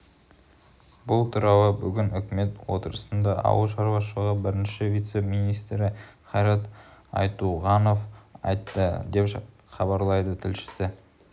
бұл туралы бүгін үкімет отырысында ауыл шаруашылығы бірінші вице-министрі қайрат айтуғанов айтты деп хабарлайды тілшісі